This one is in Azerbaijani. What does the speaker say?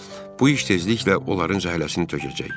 Bu iş tezliklə onların zəhləsini tökəcək.